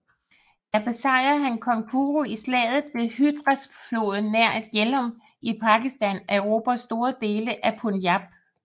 Der besejrede han kong Puru i slaget ved Hydaspesfloden nær Jhelum i Pakistan og erobrede store dele af Punjab